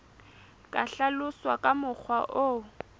ka hlaloswa ka mokgwa o